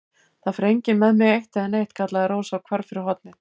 Það fer enginn með mig eitt né neitt, kallaði Rósa og hvarf fyrir hornið.